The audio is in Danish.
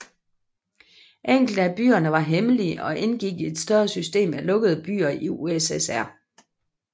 Enkelte af byerne var hemmelige og indgik i et større system af lukkede byer i USSR